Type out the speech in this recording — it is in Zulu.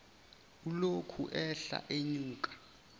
ulokhu ehla enyuka